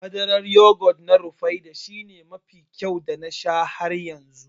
Madarar yogut ɗin Rufaidah shine mafi kyau da na sha har yanzu